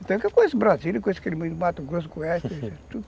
Então eu conheço Brasília, conheço aquele mato, conheço o Coeste, conheço tudo.